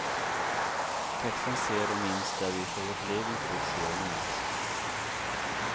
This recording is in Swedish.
Texten ser och minns det vi för vårt liv inte vill se och minnas.